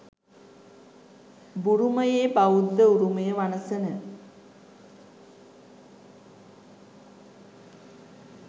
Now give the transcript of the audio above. බුරුමයේ බෞද්ධ උරුමය වනසන